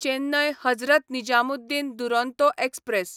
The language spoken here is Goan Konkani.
चेन्नय हजरत निजामुद्दीन दुरोंतो एक्सप्रॅस